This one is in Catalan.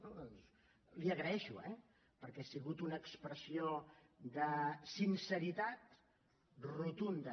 doncs l’hi agraeixo eh perquè ha sigut una expressió de sinceritat rotunda